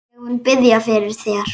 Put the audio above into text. Ég mun biðja fyrir þér.